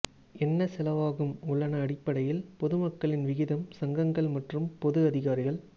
என்ன செலவாகும் உள்ளன அடிப்படையில் பொதுமக்களின் விகிதம் சங்கங்கள் மற்றும் பொது அதிகாரிகள்